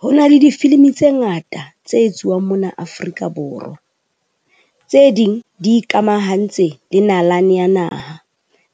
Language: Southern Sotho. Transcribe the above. Honale difilimi tse ngata tse etsuwang mona Afrika Borwa. Tse ding di ikamahantse le nalane ya naha,